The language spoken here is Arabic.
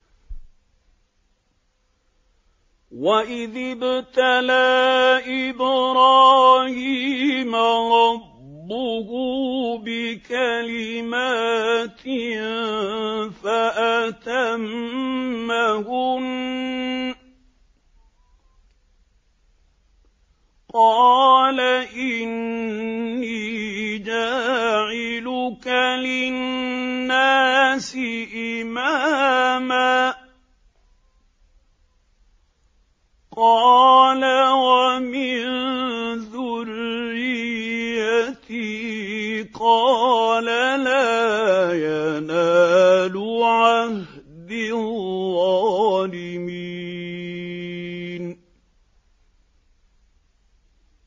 ۞ وَإِذِ ابْتَلَىٰ إِبْرَاهِيمَ رَبُّهُ بِكَلِمَاتٍ فَأَتَمَّهُنَّ ۖ قَالَ إِنِّي جَاعِلُكَ لِلنَّاسِ إِمَامًا ۖ قَالَ وَمِن ذُرِّيَّتِي ۖ قَالَ لَا يَنَالُ عَهْدِي الظَّالِمِينَ